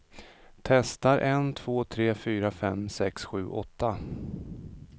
Testar en två tre fyra fem sex sju åtta.